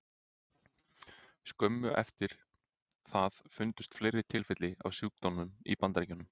Skömmu eftir það fundust fleiri tilfelli af sjúkdómnum í Bandaríkjunum.